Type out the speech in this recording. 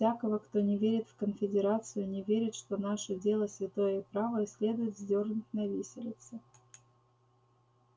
всякого кто не верит в конфедерацию не верит что наше дело святое и правое следует вздёрнуть на виселице